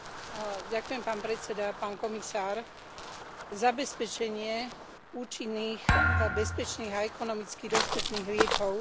Zabezpečenie účinných, bezpečných a ekonomicky dostupných liekov je hlavne zodpovednosťou a úlohou členských štátov.